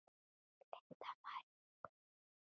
Linda María og Guðrún Lilja.